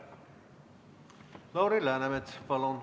Lauri Läänemets, palun!